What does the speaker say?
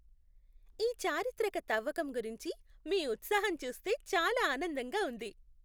ఈ చారిత్రక తవ్వకం గురించి మీ ఉత్సాహం చూస్తే చాలా ఆనందంగా ఉంది!